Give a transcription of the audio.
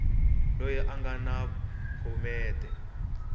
loyi a nga na phomete